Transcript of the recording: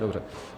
Dobře.